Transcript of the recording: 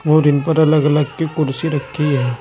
और इन पर अलग अलग की कुर्सी रखी है।